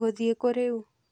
Ngũthiĩ kũũ rĩu.